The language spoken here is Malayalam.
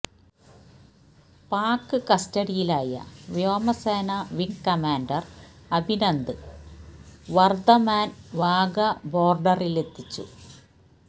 പാക് കസ്റ്റഡിയിലായ വ്യോമസേന വിങ് കമാന്ഡര് അഭിനന്ദന് വര്ധമാന് വാഗ ബോര്ഡറിലെത്തിച്ചു